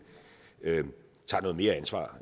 tager noget mere ansvar